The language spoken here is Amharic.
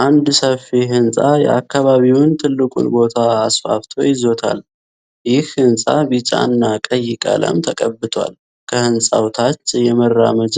አንድ ሰፊ ህንጻ የአካባቢውን ትልቁን ቦታ አስፋፍቶ ይዞታል። ይህ ህንጻ ቢጫ እና ቀይ ቀለም ተቀብቷል። ከህንጻው ታች የመራመጃ